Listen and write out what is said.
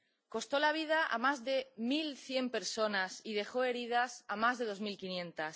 Costó la vida a más de mil cien personas y dejó heridas a más de dos mil quinientas.